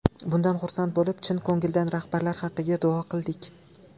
Bundan xursand bo‘lib, chin ko‘ngildan rahbarlar haqqiga duo qildik.